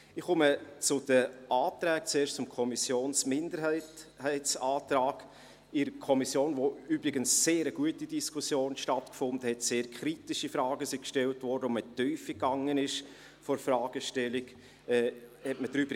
Ich komme zu den Anträgen, zuerst zum Kommissionsminderheitsantrag in der Kommission, in der übrigens eine sehr gute Diskussion stattgefunden hat, sehr kritische Fragen gestellt und in die Tiefe der Fragestellung gegangen wurde: